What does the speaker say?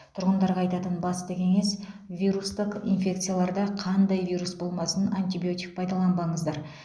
тұрғындарға айтатын басты кеңес вирустық инфекцияларда қандай вирус болмасын антибиотик пайдаланбаңыздар